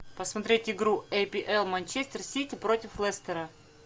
посмотреть игру апл манчестер сити против лестера